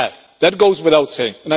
That goes without saying.